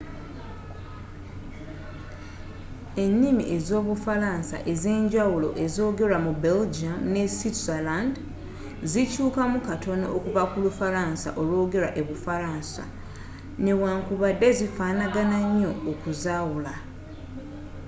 ennimi ez'obufalaansa enza enjawulo ezoogerwa mu belgium ne switzerland zikyuukamu katono okuva ku lufalansa olwoogerwa e bufaransa newankubadde zifaanagana nnyo okuzaawula